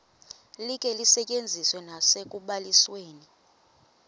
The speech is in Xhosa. likhe lisetyenziswe nasekubalisweni